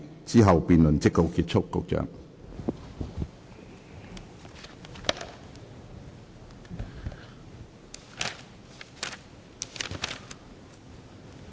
之後辯論即告結束。